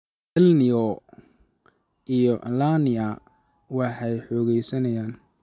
El-Ni�o iyo La-Ni�a waxay xoogaysanayaan.